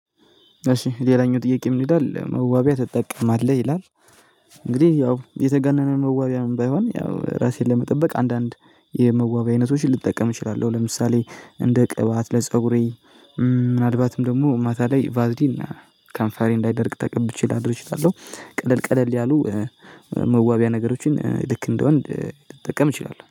እሺ ሌላኛው ጥያቄ ምን ይላል መዋቢያ ትጠቀማለህ ይላል? እንግዲህ ያው የተጋነነ መዋቢያም ባይሆን ያው ራሴን ለመጠበቅ አንዳንድ የመዋቢያ አይነቶችን ልጠቀም እችላለሁ። ለምሳሌ እንደ ቅባት ለፀጉሬ ምናልባትም ደግሞ ማታ ላይ ቫዝሊን ከንፋሬ እንዳይደርቅ ተቀብቼ ላድር እችላለሁ። ቀለል ቀለል ያሉ መዋቢያ ነገሮችን ልክ እንደ ወንድ ልጠቀም እችላለሁ